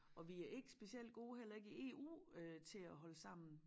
Og vi ikke specielt gode heller ikke i EU øh til at holde sammen